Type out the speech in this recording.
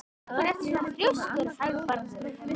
Af hverju ertu svona þrjóskur, Hagbarður?